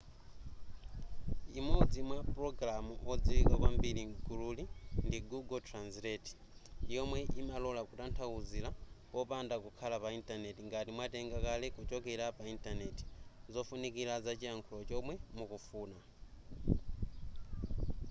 imodzi mwa mapulogalamu odziwika kwambiri m'gululi ndi google translate yomwe imalola kutanthauzira popanda kukhala pa intaneti ngati mwatenga kale kuchokera pa intanenti zofunikira zachilankhulo chomwe mukufuna